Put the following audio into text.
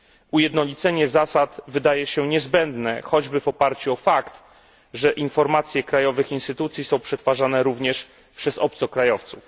Ujednolicenie zasad wydaje się niezbędne, choćby w oparciu o fakt, że informacje krajowych instytucji są przetwarzane również przez obcokrajowców.